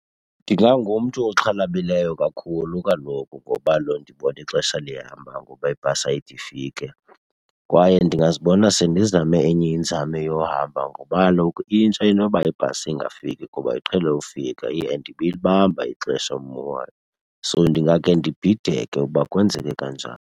Ndingangumntu oxhalabileyo kakhulu kaloku ngoba ndibona ixesha lihamba ngoba ibhasi ayide ifike. Kwaye ndingazibona sendizame enye inzame yohamba ngoba kaloku intsha intoba ibhasi ingafiki kuba iqhele ufika iye and ibilibamba ixesha ummo wayo. So ndingakhe ndibhideke ukuba kwenzeke kanjani.